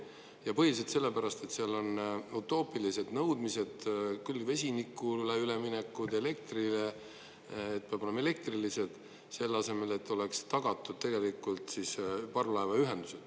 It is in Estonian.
Ja põhiliselt sellepärast, et seal on utoopilised nõudmised küll vesinikule üleminekul ja elektrile, et peavad olema elektrilised, selle asemel et oleks tagatud tegelikult parvlaevaühendus.